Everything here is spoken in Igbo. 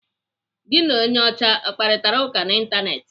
Gị na onye ọcha akparitara ụka n'Ịntanetị?